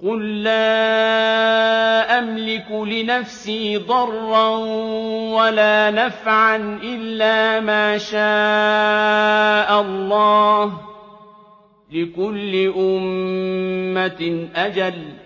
قُل لَّا أَمْلِكُ لِنَفْسِي ضَرًّا وَلَا نَفْعًا إِلَّا مَا شَاءَ اللَّهُ ۗ لِكُلِّ أُمَّةٍ أَجَلٌ ۚ